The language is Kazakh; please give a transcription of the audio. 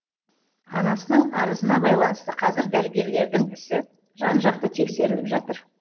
анасының арызына байланысты қазір дәрігерлердің ісі жан жақты тексеріліп жатыр